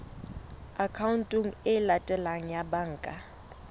akhaonteng e latelang ya banka